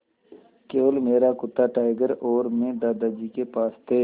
केवल मेरा कुत्ता टाइगर और मैं दादाजी के पास थे